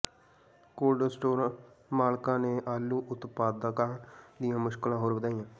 cold store ਮਾਲਕਾਂ ਨੇ ਆਲੂ ਉਤਪਾਦਕਾਂ ਦੀਆਂ ਮੁਸ਼ਕਿਲਾਂ ਹੋਰ ਵਧਾਈਆਂ